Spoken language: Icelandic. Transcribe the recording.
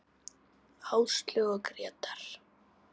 Áslaug og Grétar.